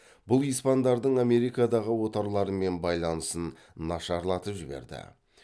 бұл испандардың америкадағы отарларымен байланысын нашарлатып жіберді